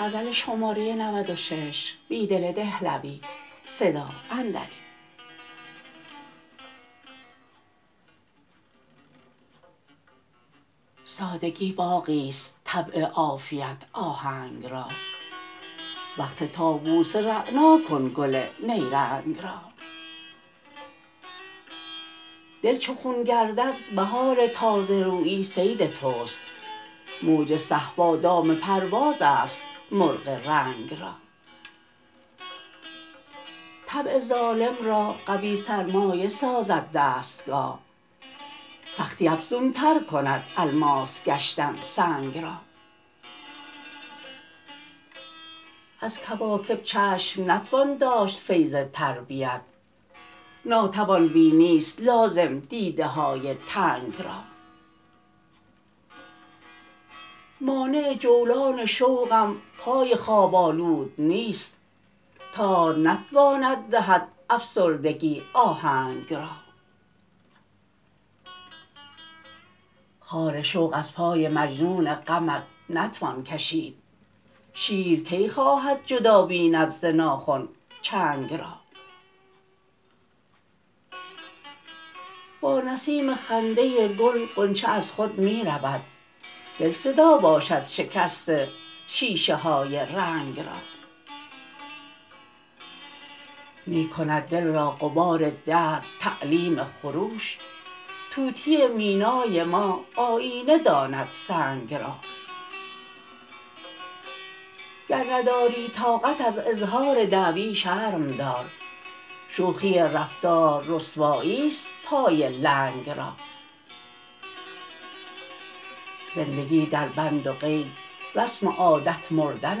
سادگی باغی ست طبع عافیت آهنگ را وقف طاووسان رعنا کن گل نیرنگ را دل چو خون گردد بهار تازه رویی صید توست موج صهبا دام پرواز است مرغ رنگ را طبع ظالم را قوی سرمایه سازد دستگاه سختی افزونتر کند الماس گشتن سنگ را از کواکب چشم نتوان داشت فیض تربیت ناتوان بینی ست لازم دیده های تنگ را مانع جولان شوقم پای خواب آلود نیست تار نتواند دهد افسردگی آهنگ را خار شوق از پای مجنون غمت نتوان کشید شیر کی خواهد جدا بیند ز ناخن چنگ را با نسیم خنده گل غنچه از خود می رود دل صدا باشد شکست شیشه های رنگ را می کند دل را غبار درد تعلیم خروش طوطی مینای ما آیینه داند سنگ را گر نداری طاقت از اظهار دعوی شرم دار شوخی رفتار رسوایی ست پای لنگ را زندگی در بند و قید رسم عادت مردن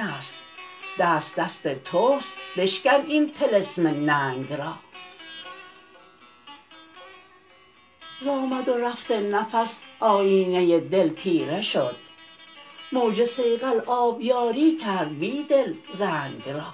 است دست دست توست بشکن این طلسم ننگ را ز آمد و رفت نفس آیینه دل تیره شد موج صیقل آبیاری کرد بیدل زنگ را